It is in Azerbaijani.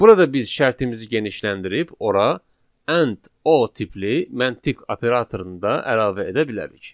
Burada biz şərtimizi genişləndirib ora and o tipli məntiq operatorunu da əlavə edə bilərik.